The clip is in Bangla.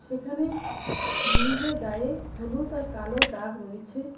এখানে ব্রীজের গায়ে হলুদ আর কালো দাগ রয়েছে।